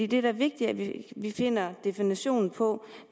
det er da vigtigt at vi finder definitionen på